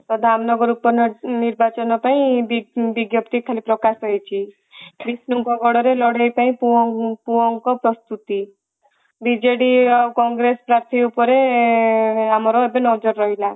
ତ ଧାମନଗର ଉପ ନିର୍ବାଚନ ପାଇଁ ବିଜ୍ଞପ୍ତି ଖାଲି ପ୍ରକାଶ ହୋଇଛି ବିଷ୍ଣୁ ଙ୍କ ଗଡରେ ଲଢେଇ ପାଇଁ ପୁଅଙ୍କ ପ୍ରସ୍ତୁତି ବିଜେଡି ଆଉ କଂଗ୍ରେସ ପାର୍ଥୀ ଉପରେ ଆମର ଏବେ ନଜର ରହିଲା